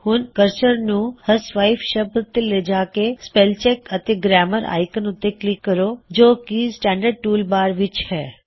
ਹੁਣ ਅਪਣੇ ਕਰਸਰ ਨੂੰ ਹਿਊਸਵਾਈਫ ਸ਼ਬਦ ਤੇ ਲੇਜਾਂ ਕੇ ਸਪੈੱਲਿੰਗ ਅਤੇ ਗਰੈਮਰ ਆਇਕਨ ਉੱਤੇ ਕਲਿੱਕ ਕਰੋ ਜੋ ਕੀ ਸਟੈਨਡਰਡ ਟੂਲ ਬਾਰ ਵਿੱਚ ਹੈ